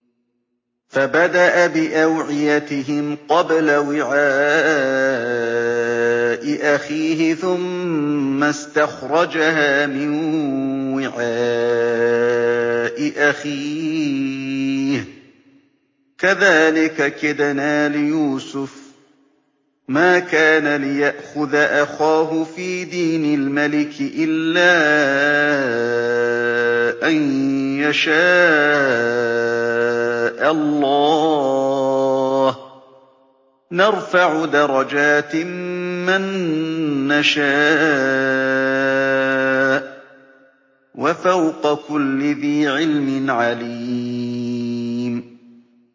فَبَدَأَ بِأَوْعِيَتِهِمْ قَبْلَ وِعَاءِ أَخِيهِ ثُمَّ اسْتَخْرَجَهَا مِن وِعَاءِ أَخِيهِ ۚ كَذَٰلِكَ كِدْنَا لِيُوسُفَ ۖ مَا كَانَ لِيَأْخُذَ أَخَاهُ فِي دِينِ الْمَلِكِ إِلَّا أَن يَشَاءَ اللَّهُ ۚ نَرْفَعُ دَرَجَاتٍ مَّن نَّشَاءُ ۗ وَفَوْقَ كُلِّ ذِي عِلْمٍ عَلِيمٌ